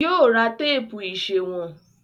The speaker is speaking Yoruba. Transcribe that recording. Yóò ra téèpù ìsèwọ̀n.